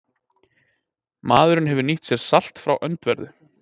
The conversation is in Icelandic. Maðurinn hefur nýtt sér salt frá öndverðu.